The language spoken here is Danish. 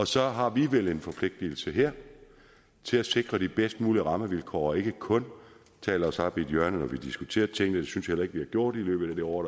så har vi vel en forpligtelse her til at sikre de bedst mulige rammevilkår og ikke kun tale os op i et hjørne når vi diskuterer tingene det synes jeg heller ikke vi har gjort i løbet af det år